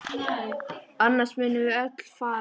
Annars munum við öll farast!